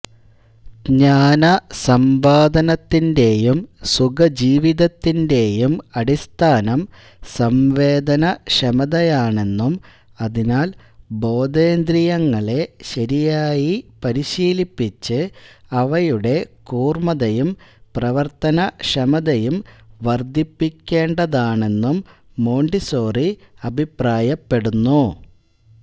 ജഞാനസമ്പാദനത്തിന്റേയും സുഖജീവിതത്തിന്റേയും അടിസ്ഥാനം സംവേദനക്ഷമതയാണെന്നും അതിനാൽ ബോധേന്ദ്രിയങ്ങളെ ശരിയായി പരിശീലിപ്പിച്ച് അവയുടെ കൂർമതയും പ്രവർത്തനക്ഷമതയും വർദ്ധിപ്പിക്കേണ്ടതാണെന്നും മോണ്ടിസോറി അഭിപ്രായപ്പെടുന്നു